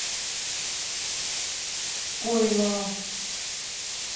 пойлова